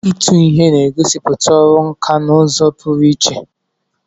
Ịtụ ihe na-egosipụta ọrụ nkà n'ụzọ pụrụ iche.